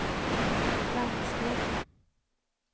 blanksteg